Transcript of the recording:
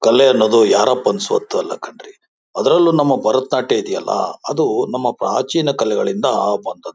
ಕಲೆ ಅನ್ನೋದು ಯಾರಪ್ಪನ ಸ್ವತ್ತು ಅಲ್ಲ ಕಣ್ರೀ ಅದ್ರಲ್ಲೂ ನಮ್ಮ ಭರತನಾಟ್ಯ ಇದೆಯಲ್ಲ ಅದು ನಮ್ಮ ಪ್ರಾಚೀನ ಕಲೆಗಳಿಂದ ಬಂದದ್ದು.